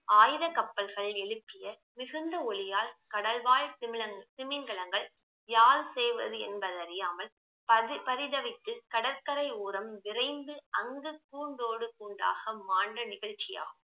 ஆயுத கப்பல்கள் எழுப்பிய விசிண்ட ஒலியால் கடல் வாழ் திமிலங்~ திமிங்கலங்கள் யார் செய்வதென்பது அறியாமல் பகி~ பரிதவித்து கடற்கரையோரம் விரைந்து அங்கு கூண்டோடு கூண்டாக மாண்ட நிகழ்ச்சியாகும்